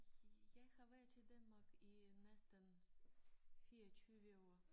Jeg har været i Danmark i næsten 24 år